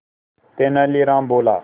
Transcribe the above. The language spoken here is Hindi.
तेनालीराम बोला